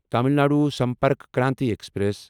Tamil Nadu Sampark Kranti express